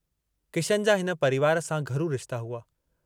किशन जा हिन परिवार सां घरू रिश्ता हुआ।